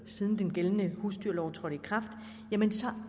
siden den gældende husdyrlov trådte i kraft